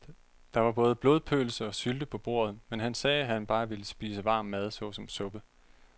Der var både blodpølse og sylte på bordet, men han sagde, at han bare ville spise varm mad såsom suppe.